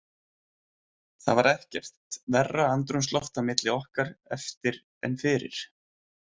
Það var ekkert verra andrúmsloft á milli okkar eftir en fyrir.